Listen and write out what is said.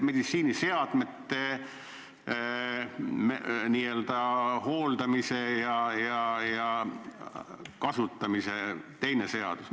Meditsiiniseadmete n-ö hooldamise ja kasutamise kohta võiks olla teine seadus.